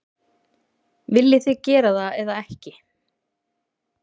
Viljið þið gera það eða ekki?